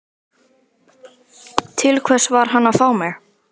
Til hvers var hann að fá mig?